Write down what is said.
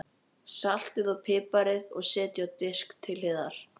Saltið og piprið og setjið á disk til hliðar.